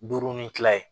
Duuru ni kila ye